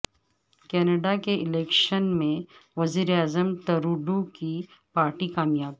Canada کے election میں وزیر اعظم ٹروڈو کی پارٹی کامیاب